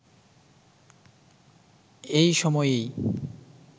এই সময়েই